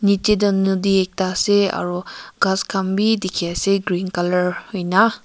yetey do nodi akeda asa aro kas khan be dekhi asa green colour hoina.